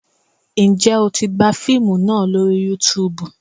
Ǹjẹ́ o tí gbà fíìmù náà lórí Youtube?